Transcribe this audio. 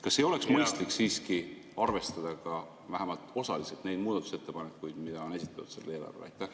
Kas ei oleks mõistlik siiski vähemalt osaliselt arvestada neid muudatusettepanekuid, mida on selle eelarve kohta esitatud?